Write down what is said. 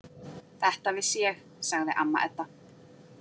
Þetta vissi ég, sagði amma Edda.